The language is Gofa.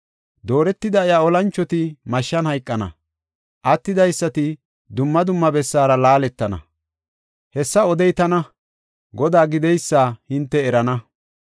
Dooretida iya olanchoti mashshan hayqana; attidaysati dumma dumma bessara laaletana.” Hessa odey tana, Godaa gideysa hinte erana.